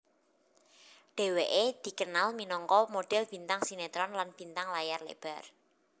Dheweké dikenal minangka model bintang sinetron lan bintang layar lebar